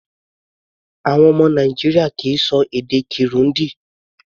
Àwọn ọmọ Nàìjíríà kì í ṣọ èdè Kirundi.